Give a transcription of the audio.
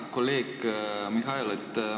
Hea kolleeg Mihhail!